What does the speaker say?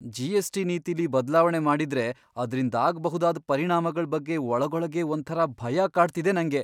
GST. ನೀತಿಲಿ ಬದ್ಲಾವಣೆ ಮಾಡಿದ್ರೆ ಅದ್ರಿಂದಾಗ್ಬಹುದಾದ್ ಪರಿಣಾಮಗಳ್ ಬಗ್ಗೆ ಒಳಗೊಳಗೇ ಒಂಥರಾ ಭಯ ಕಾಡ್ತಿದೆ ನಂಗೆ.